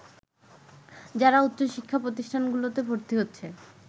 যারা উচ্চশিক্ষা প্রতিষ্ঠানগুলোতে ভর্তি হচ্ছে